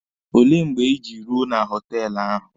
Olee mgbe Ị ji ruo na họtelụ ahụ?